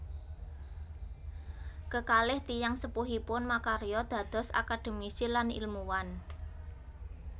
Kekalih tiyang sepuhipun makarya dados akademisi lan ilmuwan